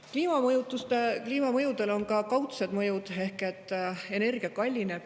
Kliima on ka kaudsed mõjud ehk energia kallineb.